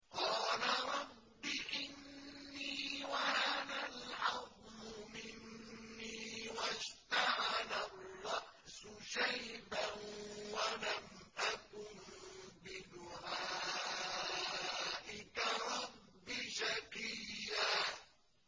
قَالَ رَبِّ إِنِّي وَهَنَ الْعَظْمُ مِنِّي وَاشْتَعَلَ الرَّأْسُ شَيْبًا وَلَمْ أَكُن بِدُعَائِكَ رَبِّ شَقِيًّا